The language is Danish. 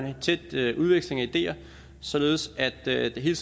en tæt udveksling af ideer således at det hele